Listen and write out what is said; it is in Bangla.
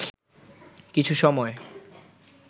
কিছু সময়